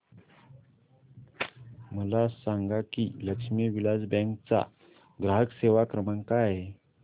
मला सांगा की लक्ष्मी विलास बँक चा ग्राहक सेवा क्रमांक काय आहे